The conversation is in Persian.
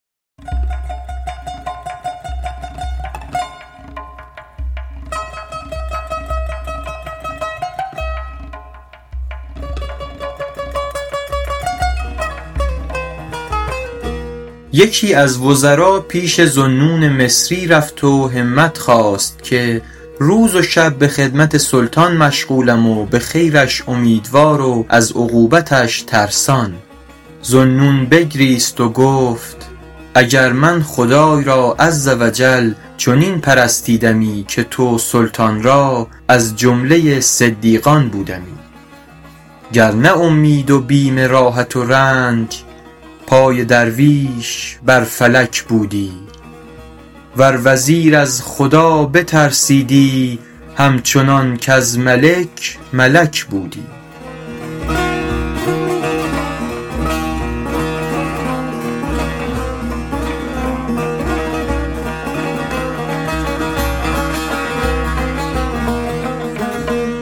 یکی از وزرا پیش ذوالنون مصری رفت و همت خواست که روز و شب به خدمت سلطان مشغولم و به خیرش امیدوار و از عقوبتش ترسان ذوالنون بگریست و گفت اگر من خدای را عز و جل چنین پرستیدمی که تو سلطان را از جمله صدیقان بودمی گر نه اومید و بیم راحت و رنج پای درویش بر فلک بودی ور وزیر از خدا بترسیدی هم چنان کز ملک ملک بودی